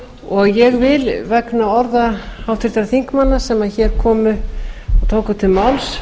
og ég vil vegna orða háttvirtra þingmanna sem tóku til máls